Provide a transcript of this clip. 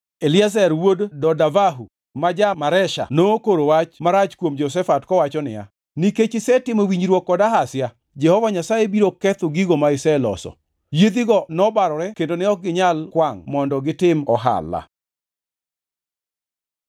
Eliezer wuod Dodavahu ma ja-Maresha nokoro wach marach kuom Jehoshafat kowacho niya, “Nikech isetimo winjruok kod Ahazia, Jehova Nyasaye biro ketho gigo ma iseloso.” Yiedhigo nobarore kendo ne ok ginyal kwangʼ mondo gitim ohala.